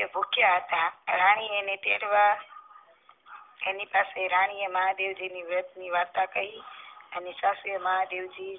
એ ભુખીયા હતા રાની એને તેડવા તેની પાસે રાની એ મહાદેવ ની વ્રત ની વાર્તા કહી મહાદેવ જી